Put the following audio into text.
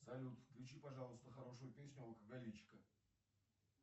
салют включи пожалуйста хорошую песню алкоголичка